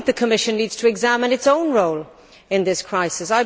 I think the Commission needs to examine its own role in this crisis.